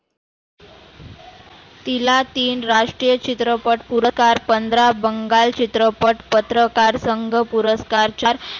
तीला तीन राष्ट्रीय चित्रपट पुरकार, पंधरा बंगाल चित्रपट पत्रकार संग पुरस्कार चार